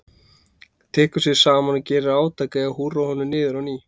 Tekur sig saman og gerir átak í að húrra honum niður á ný.